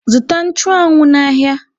Zụta nchụanwụ n'ahịa!